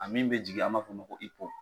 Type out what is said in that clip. A min bɛ jigin an m'a fɔ o ma ko